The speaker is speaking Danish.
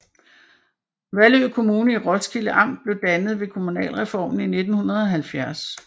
Vallø Kommune i Roskilde Amt blev dannet ved kommunalreformen i 1970